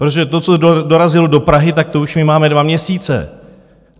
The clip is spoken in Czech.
Protože to, co dorazilo do Prahy, tak to už my máme dva měsíce.